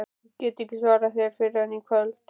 Ég get ekki svarað þér fyrr en í kvöld